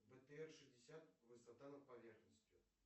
бтр шестьдесят высота над поверхностью